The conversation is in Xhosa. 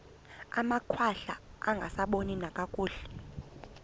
amakhwahla angasaboni nakakuhle